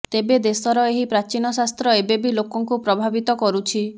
ତେବେ ଦେଶର ଏହି ପ୍ରାଚୀନ ଶାସ୍ତ୍ର ଏବେବି ଲୋକଙ୍କୁ ପ୍ରଭାବିତ କରୁଛି